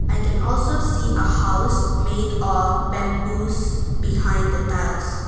I can also see a house made of bamboos behind the tiles.